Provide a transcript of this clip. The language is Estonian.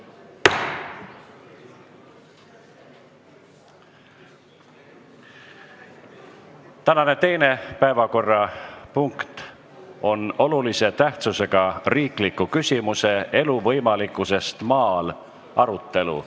Tänane teine päevakorrapunkt on olulise tähtsusega riikliku küsimuse "Elu võimalikkusest maal" arutelu.